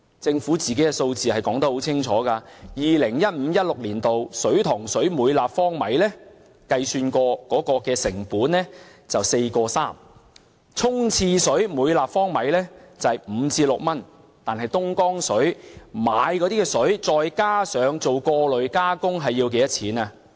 政府的數字說得很清楚，在 2015-2016 年度，水塘水每立方米經計算後的成本是 4.3 元，沖廁水每立方米是5元至6元，但購買東江水後再加上過濾加工要多少錢？